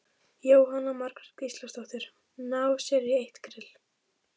Jóhanna Margrét Gísladóttir: Ná sér í eitt grill?